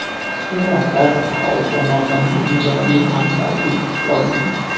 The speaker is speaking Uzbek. Suratlar aholi tomonidan ham ijobiy, ham salbiy kutib olinmoqda.